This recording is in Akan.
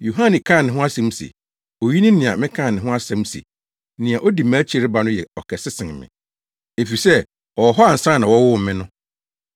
Yohane kaa ne ho asɛm se, “Oyi ne nea mekaa ne ho asɛm se, ‘Nea odi mʼakyi reba no yɛ ɔkɛse sen me, efisɛ ɔwɔ hɔ ansa na wɔwoo me no.’ ”